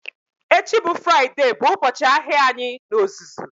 Echi bụ Fraịde bụ ụbọchị ahịa anyị n'ozuzu